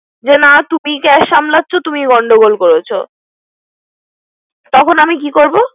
সে জানা তুমি cash সামলাচ্ছো তুমিই গন্ডগোল করছে। তখন আমি কি করব।